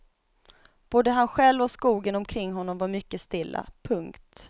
Både han själv och skogen omkring honom var mycket stilla. punkt